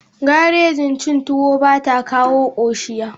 Garajen chin tuwo bata kawo koshiya.